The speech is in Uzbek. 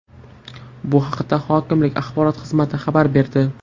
Bu haqda hokimlik axborot xizmati xabar berdi.